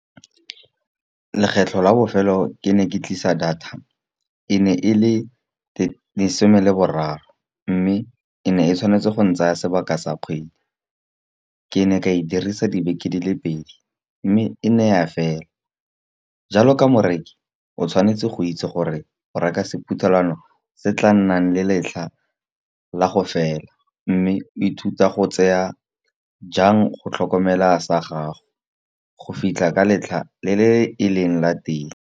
Lekgetlho la bofelo ke ne ke tlisa data e ne e le lesome leboraro, mme e ne e tshwanetse go ntsaya sebaka sa kgwedi. Ke ne ka e dirisa dibeke di le pedi mme e ne ya fela. Jalo ka morekisi o tshwanetse go itse gore o reka sephuthelwano, se tla nnang le letlha la go fela mme o ithuta go tseya jang go tlhokomela sa gago go fitlha ka letlha le le e leng la teng.